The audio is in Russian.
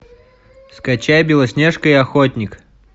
скачай белоснежка и охотник